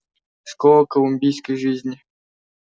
школа колумбийской жизни